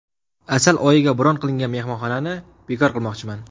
Asal oyiga bron qilingan mehmonxonani bekor qilmoqchiman”.